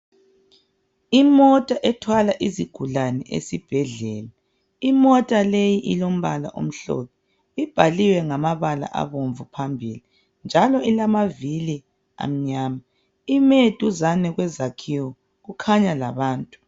Imota ethwala izigulani esibhedlela imota leyi ilombala omhlophe ibhaliwe ngamabala abomvu phambili njalo ilamavili amnyama ime duzane kwezakhiwo kukhanya labantu.